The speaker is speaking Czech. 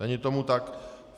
Není tomu tak.